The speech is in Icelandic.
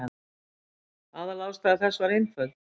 Aðalástæða þess var einföld.